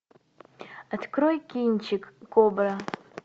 открой кинчик кобра